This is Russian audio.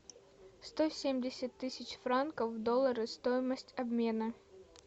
сто семьдесят тысяч франков в доллары стоимость обмена